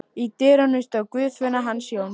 Í dyrunum stóð Guðfinna hans Jóns.